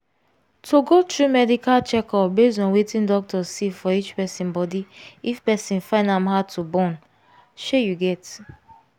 to go through medical checkup base on wetin doctor see for each person body if person dey find am hard to born shey you get